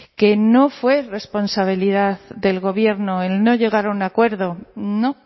que no fue responsabilidad del gobierno el no llegar a un acuerdo no